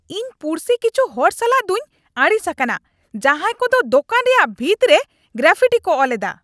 ᱤᱧ ᱯᱩᱲᱥᱤ ᱠᱤᱪᱷᱩ ᱦᱚᱲ ᱥᱟᱞᱟᱜ ᱫᱩᱧ ᱟᱹᱲᱤᱥ ᱟᱠᱟᱱᱟ ᱡᱟᱦᱟᱭ ᱠᱚᱫᱚ ᱫᱚᱠᱟᱱ ᱨᱮᱭᱟᱜ ᱵᱷᱤᱛ ᱨᱮ ᱜᱨᱟᱯᱷᱤᱴᱤ ᱠᱚ ᱚᱞᱮᱫᱟ ᱾